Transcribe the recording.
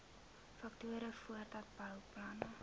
faktore voordat bouplanne